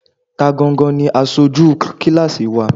Ta gangan ni aṣojú kíláásì wa?